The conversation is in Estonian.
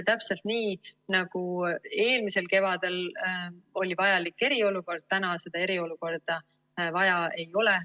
Täpselt nii, nagu eelmisel kevadel oli vajalik eriolukord, täna seda eriolukorda vaja ei ole.